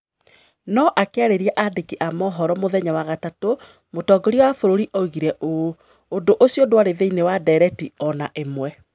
No akĩarĩria andĩki a mohoro mũthenya wa gatatũ, mũtongoria wa bũrũri oigire ũũ: "Ũndũ ũcio ndwarĩ thĩinĩ wa ndeereti o na ĩmwe".